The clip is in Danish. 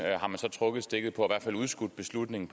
har man så trukket stikket på i hvert fald udskudt beslutningen